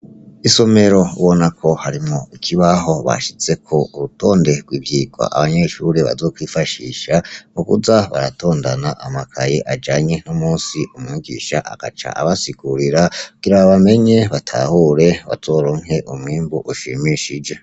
Isomero ubonako harimwo ikibaho bashizeko urutonde rwivyigwa abanyeshure bazokwifashisha mukuza baratondana amakaye ajanye n'umunsi umwigisha agaca abasigurira kugira bamenya batahura bazoronke umwimbu ushimishije.